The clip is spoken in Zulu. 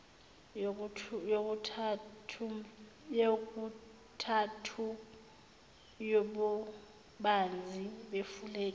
yokuthathu yobubanzi befulege